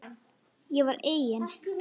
Ég var eigin